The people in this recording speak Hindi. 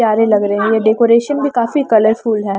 प्यारे लग रहे हैं ये डेकोरेशन भी काफी कलरफुल है।